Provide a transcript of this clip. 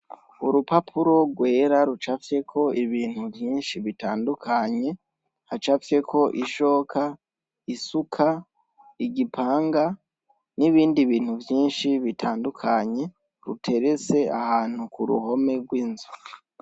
Urupapuro rwera rucafyeko ibintu vyinshi bitandukanye, hacafyeko ishoka, isuka, igipanga, n'ibindi bintu vyinshi bitandukanye, ruteretse ahantu ku ruhome rw'inzu.